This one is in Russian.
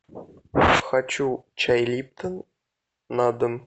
хочу чай липтон на дом